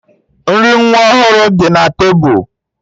Nri nwa ọhụrụ dị na tebụl